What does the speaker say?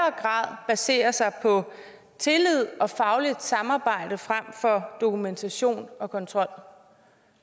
grad baserer sig på tillid og fagligt samarbejde frem for dokumentation og kontrol